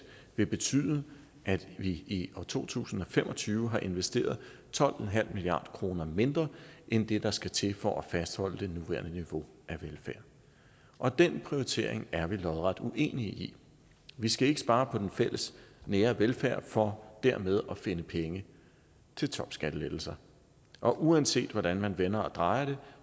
vil betyde at vi i år to tusind og fem og tyve har investeret tolv en halv milliard kroner mindre end det der skal til for at fastholde det nuværende niveau af velfærd og den prioritering er vi lodret uenige i vi skal ikke spare på den fælles nære velfærd for dermed at finde penge til topskattelettelser og uanset hvordan man vender og drejer